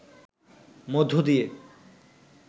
মধ্য দিয়ে